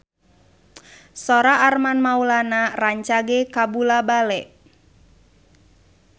Sora Armand Maulana rancage kabula-bale